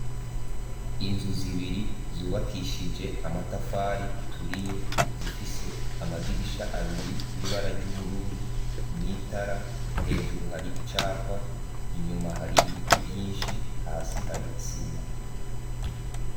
Inzu zibiri zubakishije amatafari aturiye zifise amadirisha abiri y'ibara ryubururu n'itara hejuru hari icapa inyuma hari ibiti vyinshi hasi hari isima.